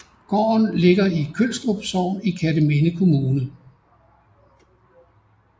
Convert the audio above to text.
Gården ligger i Kølstrup Sogn i Kerteminde Kommune